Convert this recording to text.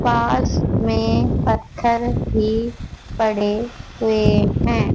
पास में पत्थर भी पड़े हुए हैं।